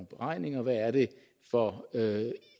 beregninger hvad det er for